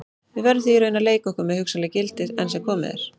Við verðum því í raun að leika okkur með hugsanleg gildi, enn sem komið er.